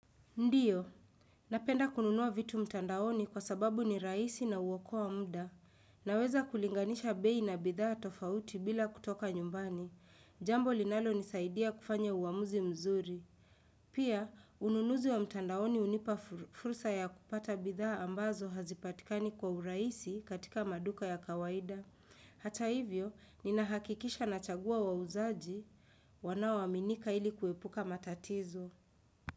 Ndiyo, napenda kununua vitu mtandaoni kwa sababu ni raisi na ukoa mda. Naweza kulinganisha bei na bidhaa tofauti bila kutoka nyumbani. Jambo linalo nisaidia kufanya uamuzi mzuri. Pia, ununuzi wa mtandaoni unipa fursa ya kupata bidhaa ambazo hazipatikani kwa uraisi katika maduka ya kawaida. Hata hivyo, ninahakikisha nachagua wa uzaji, wanao aminika ili kuepuka matatizo.